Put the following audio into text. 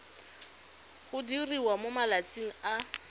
go diriwa mo malatsing a